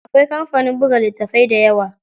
Akwai kamfanin buga litattafai dayawa.